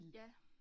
Ja